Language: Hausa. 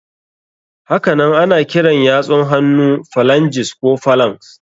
Hakanan ana kiran yatsun hannu phalanges ko phalanx.